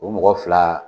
O mɔgɔ fila